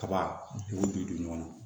Kaba dugu bi don ɲɔgɔn na